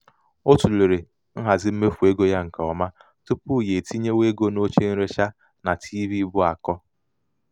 o tụlere nhazi um mmefu ego ya nke ọma tupu ya etinyewe ego n'oche nrecha na tiivii bu akọ.